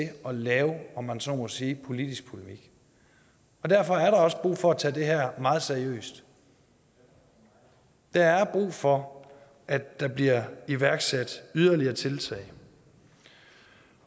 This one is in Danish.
at lave om man så må sige politisk polemik og derfor er der også brug for at tage det her meget seriøst der er brug for at der bliver iværksat yderligere tiltag